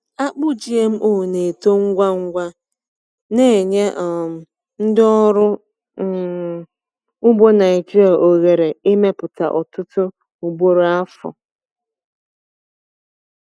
Akpụ GMO na-eto ngwa ngwa, na-enye um ndị ọrụ um ugbo Naijiria ohere ịmepụta ọtụtụ ugboro n’afọ.